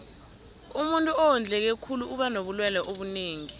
umuntuu owondleke khulu uba nobulelwe obunengi